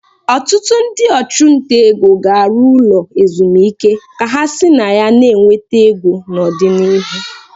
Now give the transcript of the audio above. Ọtụtụ ndị ọchụnta ego ga-arụ ụlọ ezumike ka ha si na ya na-enweta ego n'ọdịnihu.